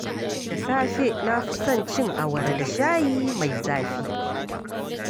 Da safe, na fi son cin awara da shayi mai zafi.